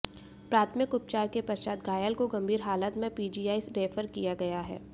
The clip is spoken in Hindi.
प्राथमिक उपचार के पश्चात घायल को गंभीर हालत में पीजीआई रैफर किया गया है